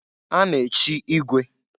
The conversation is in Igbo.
A na-echi igwe.